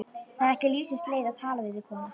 Það er ekki lífsins leið að tala við þig kona!